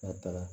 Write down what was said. N'a taara